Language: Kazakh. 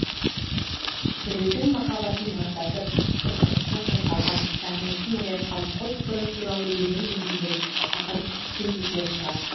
біреудің махаббатын маздатып қызғанышын қозғаған сағынышын оятқан қос бұрым туралы өлең өрмеген ақын кемде кем шығар